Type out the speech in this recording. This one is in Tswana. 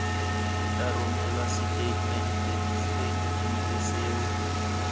tla romelwa setatamente setatamente seo